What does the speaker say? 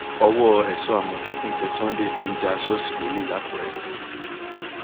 ọwọ èso àmọtẹkùn tẹ sunday tó ń já ṣọọṣì lólè lákùrẹ